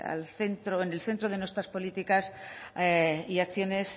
en el centro de nuestras políticas y acciones